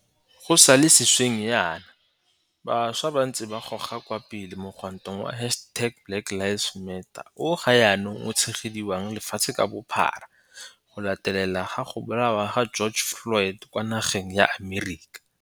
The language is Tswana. Go sa le sešweng jaana, bašwa ba ntse ba goga kwa pele mogwanto wa hashtag BlackLivesMatter o ga jaanong o tshegediwang lefatshe ka bophara go latela go bolawa ga George Floyd kwa nageng ya Amerika.